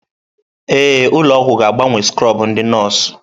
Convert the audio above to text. Ee, ụlọ ọgwụ ga-agbanwe skrọbụ ndị nọọsụ.